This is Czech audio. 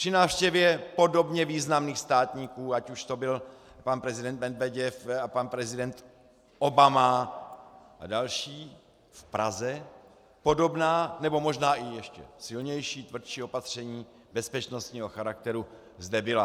Při návštěvě podobně významných státníků, ať už to byl pan prezident Medveděv a pan prezident Obama a další v Praze, podobná nebo možná i ještě silnější, tvrdší opatření bezpečnostního charakteru zde byla.